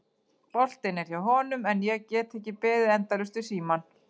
Boltinn er hjá honum en ég get ekki beðið endalaust við símann.